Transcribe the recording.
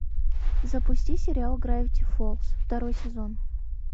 запусти сериал гравити фолз второй сезон